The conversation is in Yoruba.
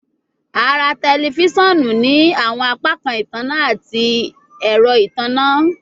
A ra tẹlifisiọnu ni awọn apakan itanna ati ẹrọ itanna